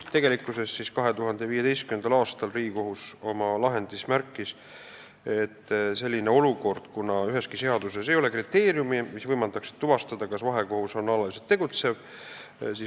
2015. aastal märkis Riigikohus, et meil valitseb olukord, et üheski seaduses ei ole kriteeriumi, mis võimaldaks tuvastada, kas vahekohus on alaliselt tegutsev.